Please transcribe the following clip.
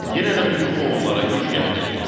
Yenə də bu yuxu onlara güc gəldi.